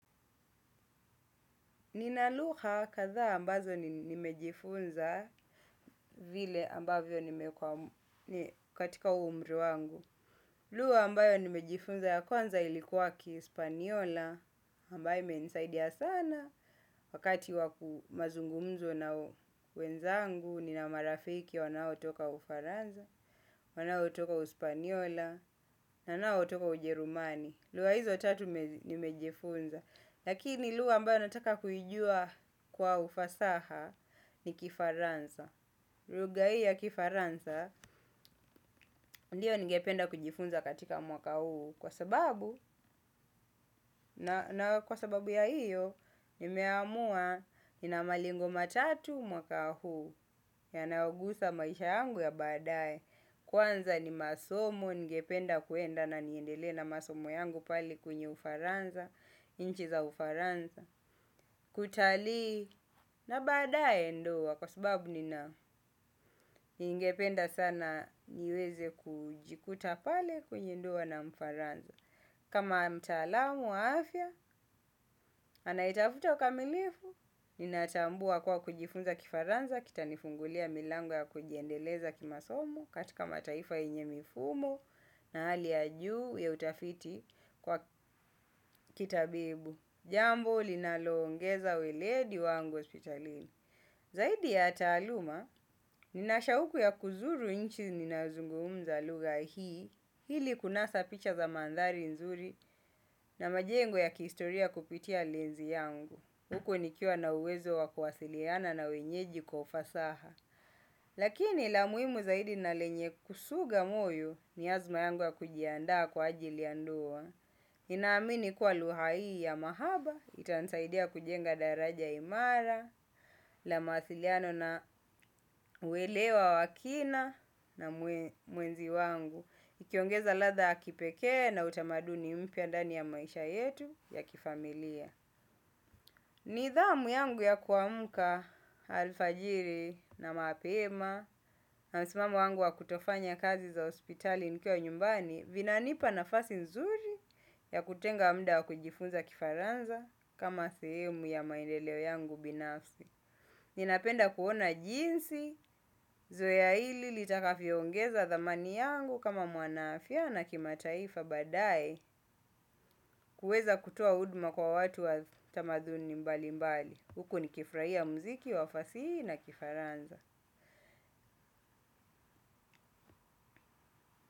Ninalugha kadhaa ambazo nimejifunza vile ambavyo nimekuwa katika umri wangu. Lugha ambayo nimejifunza ya kwanza ilikuwa kispaniola ambaye imenisaidia sana. Wakati wa mazungumzo na wenzangu nina marafiki wanaotoka ufaransa wanaotoka uspaniola wanaotoka ujerumani. Lugha hizo tatu nimejifunza. Lakini lugha ambayo nataka kuijua kwa ufasaha ni kifaransa lugha hii ya kifaransa ndiyo ningependa kujifunza katika mwaka huu kwa sababu na kwa sababu ya hiyo nimeamua nina malengo matatu mwaka huu yanayogusa maisha yangu ya baadaye. Kwanza ni masomo ningependa kwenda na niendele na masomo yangu pale kwenye ufaransa nchi za ufaransa. Kutalii na baadaye ndoa kwa sababu nina ningependa sana niweze kujikuta pale kwenye ndoa na mfaransa. Kama mtaalamu wa afya, anayetafuta ukamilifu, ninatambua kwa kujifunza kifaransa. Kita nifungulia milango ya kujiendeleza kimasomo katika mataifa yenye mifumo na hali ya juu ya utafiti kwa kitabibu. Jambo linaloongeza weledi wangu hospitalini. Zaidi ya taaluma, ninashauku ya kuzuru nchi ninazungumza lugha hii, ili kunasa picha za mandhari nzuri na majengo ya kihistoria kupitia lenzi yangu. Huku nikiwa na uwezo wa kuwasiliana na wenyeji kwa ufasaha. Lakini la muhimu zaidi na lenye kusuga moyo ni azma yangu ya kujiandaa kwa ajili ya ndoa. Ninaamini kuwa lugha hii ya mahaba, itansaidia kujenga daraja imara, la mawasiliano na uwelewa wakina na mwenzi wangu. Ukiongeza ladha ya kipekee na utamaduni mpya ndani ya maisha yetu ya kifamilia. Nidhamu yangu ya kuamka alfajiri na mapema na msimamo wangu wa kutofanya kazi za hospitali nikiwa nyumbani. Vinanipa nafasi nzuri ya kutenga muda wa kujifunza kifaransa kama sehemu ya maendeleo yangu binafsi. Ninapenda kuona jinsi, zoea hili litakavyoongeza thamani yangu kama mwanaafya na kimataifa baadaye. Kuweza kutoa huduma kwa watu wa tamaduni mbali mbali huku nikifurahia muziki wa fasihi na kifaransa.